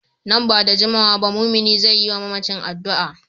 Nan ba da jimawa ba mumini zai yi wa mamacin addu’a.